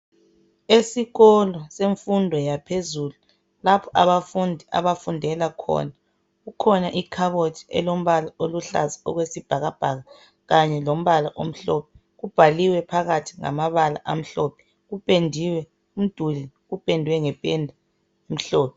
esikolo semfundo yaphezulu lapho abafundi abafundela khona kukhona ikhabothi elombala oluhlaza okwesibhakabhaka kanye lombala omhlophe kubhaliwe phakathi ngamabala omhlophe kupendiwe umduli upendwe ngependa emhlophe